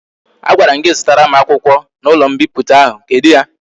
A gwara m gi zutara m akwukwo na ulo mpiputa ahu, kedu ya?